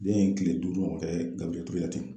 Den ye kile duuru ɲɔgɔn kɛ Gabiriyɛl Ture la ten